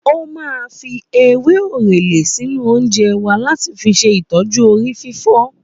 Ó máa fi ewé orele sínú oúnjẹ wa láti fi ṣe ìtọju orí fífọ́